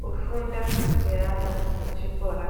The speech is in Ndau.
Kufunda kweana echikora